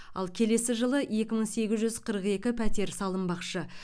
ал келесі жылы екі мың сегіз жүз қырық екі пәтер салынбақшы